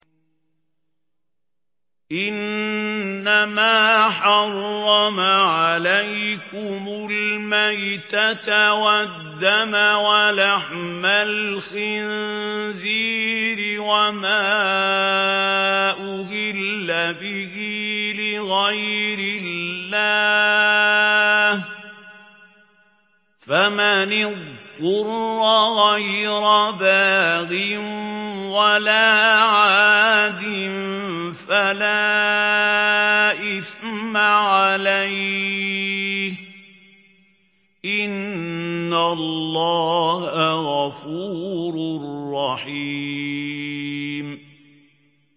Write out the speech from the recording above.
إِنَّمَا حَرَّمَ عَلَيْكُمُ الْمَيْتَةَ وَالدَّمَ وَلَحْمَ الْخِنزِيرِ وَمَا أُهِلَّ بِهِ لِغَيْرِ اللَّهِ ۖ فَمَنِ اضْطُرَّ غَيْرَ بَاغٍ وَلَا عَادٍ فَلَا إِثْمَ عَلَيْهِ ۚ إِنَّ اللَّهَ غَفُورٌ رَّحِيمٌ